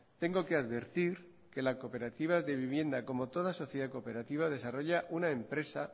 tengo que advertir que la cooperativa de vivienda como toda sociedad cooperativa desarrolla una empresa